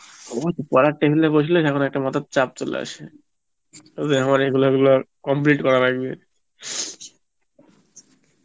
আমার পরার table এ বসলে যেমন একটা মাথার চাপ চলে আসে, ও যে আমার এগুলো ওগুলো complete করার লাগবে